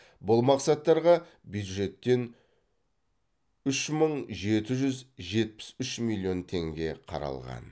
бұл мақсаттарға бюджеттен үш мың жеті жүз жетпіс үш миллион теңге қаралған